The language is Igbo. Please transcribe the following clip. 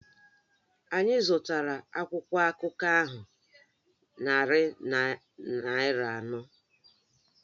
Anyị zụtara akwụkwọ akụkọ ahụ narị naira anọ